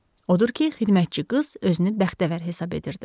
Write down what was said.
Odur ki, xidmətçi qız özünü bəxtəvər hesab edirdi.